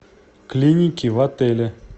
клиники в отеле